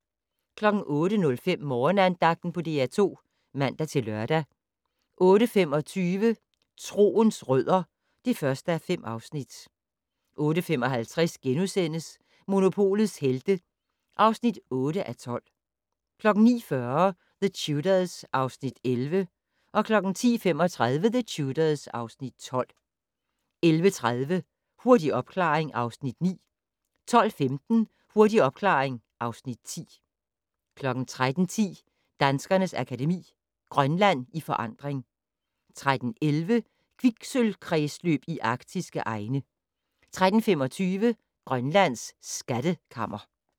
08:05: Morgenandagten på DR2 (man-lør) 08:25: Troens rødder (1:5) 08:55: Monopolets Helte (8:12)* 09:40: The Tudors (Afs. 11) 10:35: The Tudors (Afs. 12) 11:30: Hurtig opklaring (Afs. 9) 12:15: Hurtig opklaring (Afs. 10) 13:10: Danskernes Akademi: Grønland i forandring 13:11: Kviksølvkredsløb i arktiske egne 13:25: Grønlands skattekammer